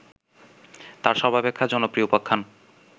তার সর্বাপেক্ষা জনপ্রিয় উপাখ্যান